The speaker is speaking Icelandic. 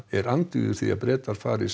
er andvígur því að Bretar fari